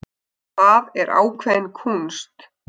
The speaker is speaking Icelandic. Það er ákveðin kúnst.